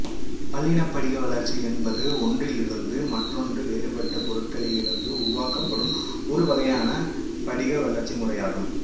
பல்லினப்படிகவளர்ச்சி என்பது ஒன்றிலிருந்து மற்றொன்று வேறுபட்ட பொருட்களிலிருந்து உருவாக்கப்படும் ஒரு வகையான படிக வளர்ச்சி முறையாகும்